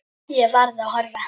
Ég varð að horfa.